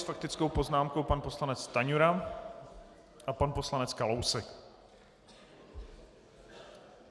S faktickou poznámkou pan poslanec Stanjura a pan poslanec Kalousek.